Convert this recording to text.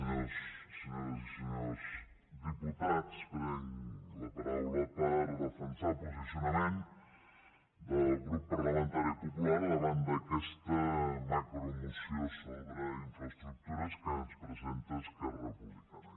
senyores i senyors diputats prenc la paraula per defensar el posicionament del grup parlamentari popular davant d’aquesta macromoció sobre infraestructures que ens presenta esquerra republicana